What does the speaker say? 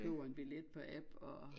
Køber en billet på app og